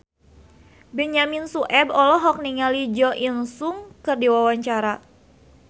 Benyamin Sueb olohok ningali Jo In Sung keur diwawancara